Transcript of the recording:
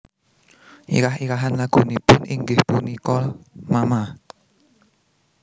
Irah irahan lagunipun inggih punika mama